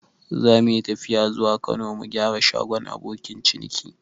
Zamuyi tafiya zuwa Kano mu gyara shagon abokin ciniki